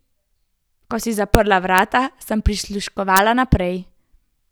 Ko si zaprla vrata, sem prisluškovala naprej.